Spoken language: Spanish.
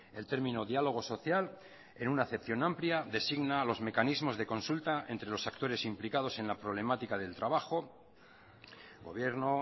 el término diálogo social en una acepción amplia designa a los mecanismos de consulta entre los actores implicados en la problemática del trabajo gobierno